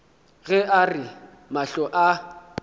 ge a re mahlo a